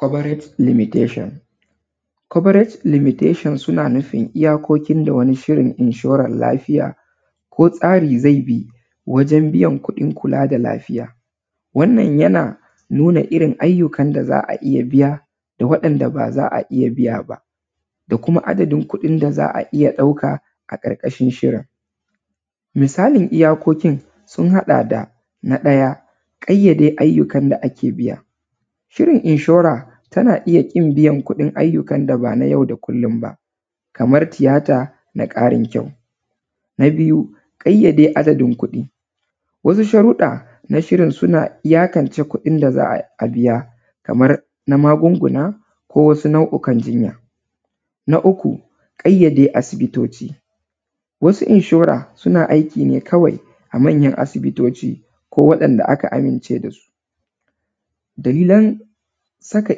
Coverate limitation. Coverate limitation suna nufin iyakokin da wani shirin inshoran lafiya ko tsari zai bi wajen biyan kuɗin kula da lafiya. Wannan yana nuna irin ayyukan da za a iya biya da waɗanda ba za a iya biya ba da kuma adadin kuɗin da za a iya ɗauka a ƙarƙashin shirin, misali iyakokin sun haɗa da; Na ɗaya, ƙayyade ayyukan da ake biya. Shirin inshora tana iya ƙin biyan kuɗin ayyukan da ban a yau da kullum ba, kamar tiyata na ƙarin kyau. Na biyu, ƙayyada adadin kuɗi. wasu sharuɗɗa na shirin suna iyakance da za a biya kamar na magunguna ko na wasu nau’ukan jinya. Na uku ƙayyade asibitoci, wasu inshore suna aiki ne kawai a manyan asibitoci ko waɗanda aka amince da su. Dalilan saka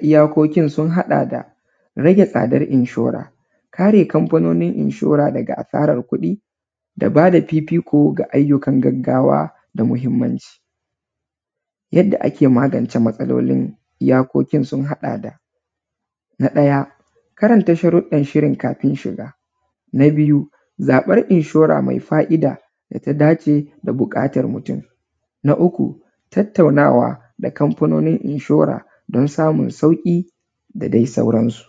iyakokin sun haɗa da rage tsadar inshore, kare kamfanonin inshore daga asarar kuɗi da ba da fifiko ga ayyukan gaggawa da mahimmanci. Yadda ake magance iyakokin sun haɗa da; Na ɗaya karanta sharuɗɗan shirin kafin shiga, na biyu, zaɓen inshora mai fa’ida da ta dace da buƙatar mutum, na uku tattaunawa da kamfanonin inshora don samun sauƙi da dai sauransu.